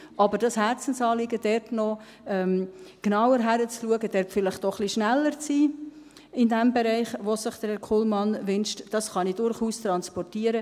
Aber das Herzensanliegen, da genauer hinzuschauen, da vielleicht auch ein bisschen schneller zu sein in diesem Bereich, in dem es sich Herr Kullmann wünscht, das kann ich durchaus transportieren.